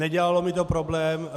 Nedělalo mi to problém.